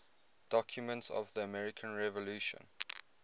documents of the american revolution